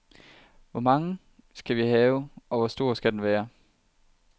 Hvor mange skal vi have og hvor store skal de være?